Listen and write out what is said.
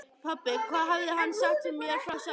Pabbi, hvað hafði hann sagt mér frá sjálfum sér?